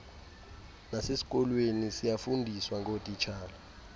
nasesikolweni siyafundiswa ngotishala